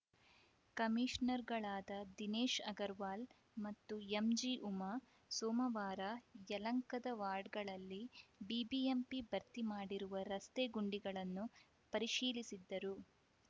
ಕಮೀಷನರ್‌ಗಳಾದ ದಿನೇಶ್‌ ಅಗರವಾಲ್‌ ಮತ್ತು ಎಂಜಿಉಮಾ ಸೋಮವಾರ ಯಲಂಕದ ವಾಡ್‌ಗಳಲ್ಲಿ ಬಿಬಿಎಂಪಿ ಭರ್ತಿ ಮಾಡಿರುವ ರಸ್ತೆಗುಂಡಿಗಳನ್ನು ಪರಿಶೀಲಿಸಿದ್ದರು